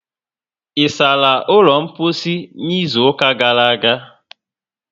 Ịsala ụlọ mposi n'izuka gara aga?